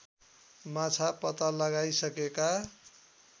माछा पत्ता लगाइसकेका